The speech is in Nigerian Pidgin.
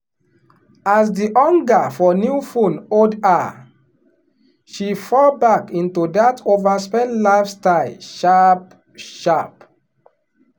as the hunger for new phone hold her she fall back into that overspend lifestyle sharp-sharp.